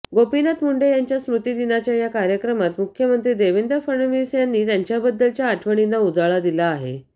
गोपीनाथ मुंडे यांच्या स्मृतीदिनाच्या या कार्यक्रमात मुख्यमंत्री देवेंद्र फडणवीस यांनी त्यांच्याबद्दलच्या आठवणींना उजाळा दिला आहे